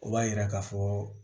O b'a yira ka fɔ